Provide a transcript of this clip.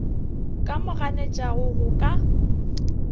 ka mo ganetšago go ka